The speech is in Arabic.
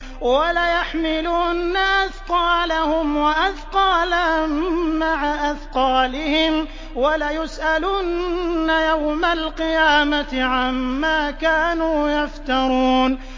وَلَيَحْمِلُنَّ أَثْقَالَهُمْ وَأَثْقَالًا مَّعَ أَثْقَالِهِمْ ۖ وَلَيُسْأَلُنَّ يَوْمَ الْقِيَامَةِ عَمَّا كَانُوا يَفْتَرُونَ